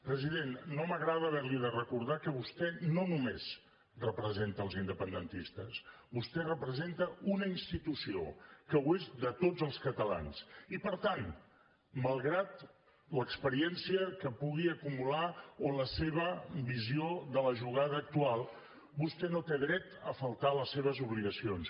president no m’agrada haver li de recordar que vostè no només representa els independentistes vostè representa una institució que ho és de tots els catalans i per tant malgrat l’experiència que pugui acumular o la seva visió de la jugada actual vostè no té dret a faltar a les seves obligacions